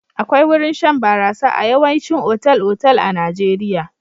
Akwai wurin shan barasa a yawaicin otal-otal a Najeirya.